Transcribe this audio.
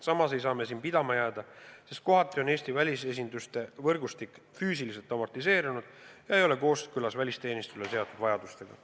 Samas ei saa me siin pidama jääda, sest kohati on Eesti välisesinduste võrgustik füüsiliselt amortiseerunud ega ole kooskõlas välisteenistusele seatud vajadustega.